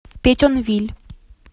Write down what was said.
петьонвиль